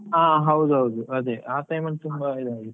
ಹಾ ಹೌದ್ ಹೌದು ಅದೇ ಆ time ಅಲ್ಲಿ ತುಂಬಾ ಈದ್ ಆಗಿದೆ.